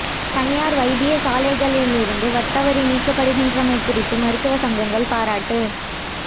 தனியார் வைத்தியசாலைகளிலிருந்து வட் வரி நீக்கப்படுகின்றமை குறித்து மருத்துவ சங்கங்கள் பாராட்டு